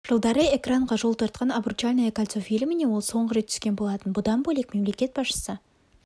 жылдары экранға жол тартқан обручальное кольцо фильміне ол соңғы рет түскен болатын бұдан бөлек мемлекет басшысы